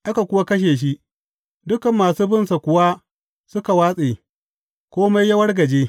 Aka kuwa kashe shi, dukan masu binsa kuwa suka watse, kome ya wargaje.